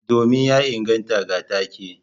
Domin ya inganta ga take.